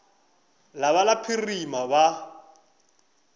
la ba la phirima ba